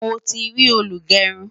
mọ tí rí olugerun